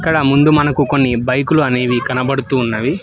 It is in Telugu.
ఇక్కడ ముందు మనకు కొన్ని బైకులు అనేవి కనబడుతున్నవి.